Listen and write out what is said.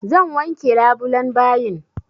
Zan wanke labulan bayin.